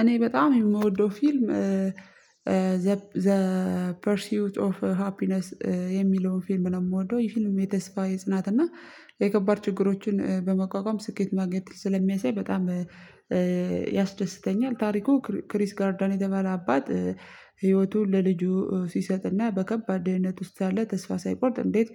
እኔ በጣም የምወደው ፊልም ዘ ፐርሲዩት ኦፍ ሃፒነስ የሚለው ፊልም ነው የምወደው ይሄ ፊልም የተስፋ የጽናት እና የከባድ ችግሮችን በመቋቋም ስኬት ማግኘት ስለሚያሳይ በጣም ያስደስተኛል። ታሪኩ ክሪስ ጋርዳን የተባለ አባት ህይወቱን ለልጁ ሲሰጥና በከባድ ደህንነት ውስጥ ሳለ ተስፋ ሳይቆርጥ እንዴት